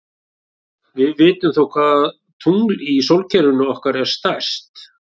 Við vitum þó hvaða tungl í sólkerfinu okkar er stærst.